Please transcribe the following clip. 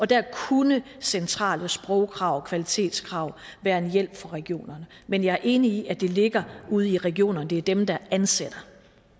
der kunne centrale sprogkrav og kvalitetskrav være en hjælp for regionerne men jeg er enig i at det ligger ude i regionerne det er dem der ansætter